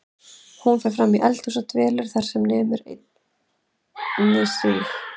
Hún fer fram í eldhús og dvelur þar sem nemur einni síg